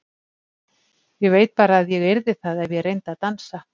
Ég veit bara að ég yrði það ef ég reyndi að dansa.